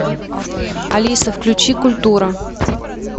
алиса включи культура